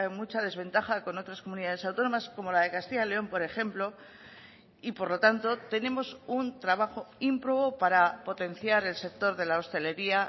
mucha desventaja con otras comunidades autónomas como la de castilla y león por ejemplo y por lo tanto tenemos un trabajo ímprobo para potenciar el sector de la hostelería